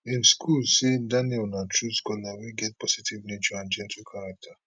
im school say daniel na true scholar wey get positive nature and gentle character